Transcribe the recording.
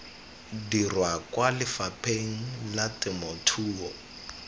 dirwa kwa lefapheng la temothuo